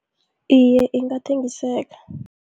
Iye, ingathengiseka.